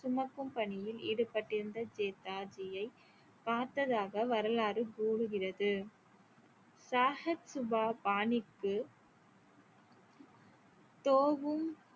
சுமக்கும் பணியில் ஈடுபட்டிருந்த ஜேதாஜியை பார்த்ததாக வரலாறு கூறுகிறது சாஹத் சுபா பானிக்கு தோகும்